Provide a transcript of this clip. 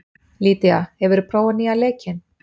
Lydía, hefur þú prófað nýja leikinn?